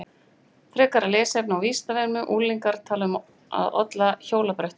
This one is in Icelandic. Frekara lesefni á Vísindavefnum Unglingar tala um að olla á hjólabrettum.